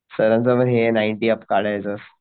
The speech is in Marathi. सरांचं पण हे नाईंटी अप्स काढायचं असं